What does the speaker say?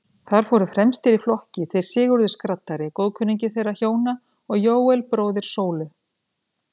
Þar fóru fremstir í flokki þeir Sigurður skraddari, góðkunningi þeirra hjóna, og Jóel, bróðir Sólu.